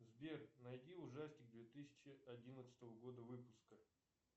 сбер найди ужастик две тысячи одиннадцатого года выпуска